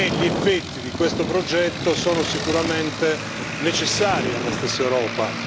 Gli effetti di questo progetto sono sicuramente necessari alla stessa Europa.